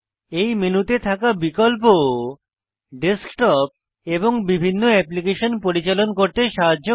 এই মেনুতে থাকা বিকল্প ডেস্কটপ এবং বিভিন্ন অ্যাপ্লিকেশন পরিচালন করতে সাহায্য করে